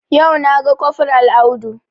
Yau na ga kofral Audu